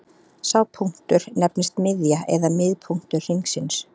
Sá punktur nefnist miðja eða miðpunktur hringsins.